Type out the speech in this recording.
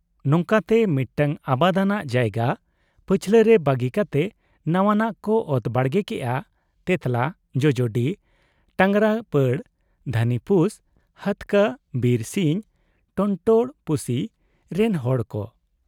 ᱱᱚᱝᱠᱟᱛᱮ ᱢᱤᱫᱴᱟᱹᱝ ᱟᱵᱟᱫᱟᱱᱟᱜ ᱡᱟᱭᱜᱟ ᱯᱟᱹᱪᱷᱞᱟᱹ ᱨᱮ ᱵᱟᱹᱜᱤ ᱠᱟᱛᱮ ᱱᱚᱶᱟᱱᱟᱜ ᱠᱚ ᱚᱛ ᱵᱟᱲᱜᱮ ᱠᱮᱜ ᱟ ᱛᱮᱸᱛᱞᱟ, ᱡᱚᱡᱚᱰᱤ, ᱴᱟᱸᱜᱽᱨᱟᱯᱟᱲ, ᱫᱷᱟᱹᱱᱤᱯᱩᱥ, ᱦᱟᱹᱛᱠᱟᱹ, ᱵᱤᱨᱥᱤᱧ, ᱴᱚᱱᱴᱚᱲᱯᱩᱥᱤ ᱨᱮᱱ ᱦᱚᱲ ᱠᱚ ᱾